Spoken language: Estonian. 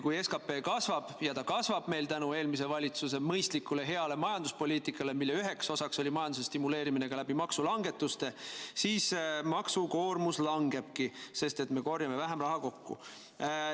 Kui SKP kasvab, ja ta kasvab meil tänu eelmise valitsuse mõistlikule ja heale majanduspoliitikale, mille üheks osaks oli majanduse stimuleerimine ka läbi maksulangetuste, siis maksukoormus langebki, sest me korjame vähem raha kokku.